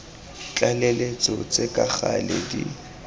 tlaleletso tse ka gale di